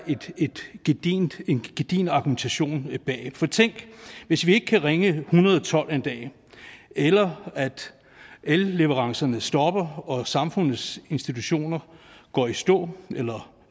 en gedigen argumentation bag for tænk hvis vi ikke kan ringe en hundrede og tolv en dag eller at elleverancerne stopper og samfundets institutioner går i stå eller